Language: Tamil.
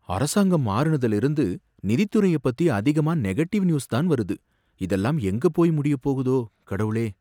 அரசாங்கம் மாறுனதுல இருந்து நிதித்துறைய பத்தி அதிகமா நெகடிவ் நியூஸ் தான் வருது, இதெல்லாம் எங்க போயி முடியப் போகுதோ, கடவுளே!